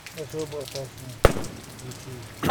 особо опасный включи